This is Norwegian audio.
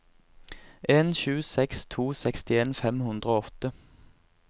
en sju seks to sekstien fem hundre og åtte